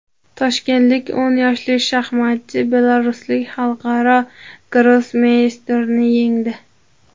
Toshkentlik o‘n yoshli shaxmatchi belaruslik xalqaro grossmeysterni yengdi.